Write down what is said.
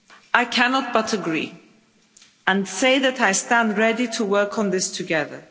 I cannot but agree, and say that I stand ready to work on this together.